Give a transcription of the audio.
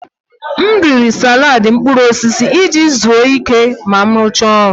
M riri salad mkpụrụ osisi iji zuru ike ma m rụchaa ọrụ.